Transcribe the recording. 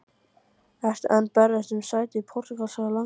Ertu enn að berjast um sæti í portúgalska landsliðinu?